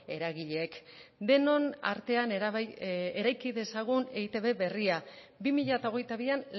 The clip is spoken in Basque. eragileek denon artean eraiki dezagun eitb berria bi mila hogeita bian